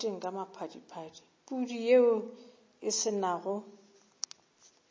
pudi yeo e se nago